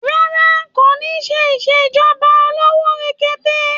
Rárá, kò ní ṣe ìṣèjọba olówó péréte.